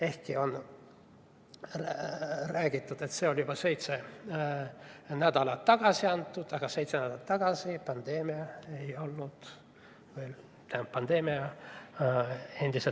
Ehkki on räägitud, et see eelnõu anti sisse juba seitse nädalat tagasi, aga ka seitse nädalat tagasi oli pandeemia olemas.